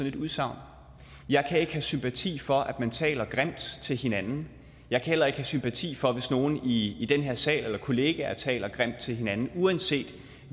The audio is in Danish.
et udsagn jeg kan ikke have sympati for at man taler grimt til hinanden jeg kan heller ikke have sympati for det hvis nogle i i den her sal eller kollegaer taler grimt til hinanden uanset